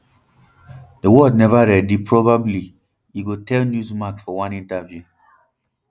di world never ready probably e tell newsmax for one interview